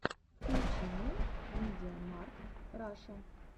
включи мне мидиамаркт раша